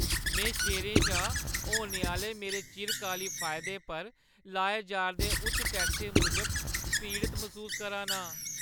में शेयरें शा होने आह्‌ले मेरे चिरकाली फायदे पर लाए जा'रदे उच्च टैक्सें मूजब पीड़त मसूस करा ना आं।